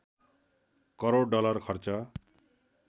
crore dollar खर्च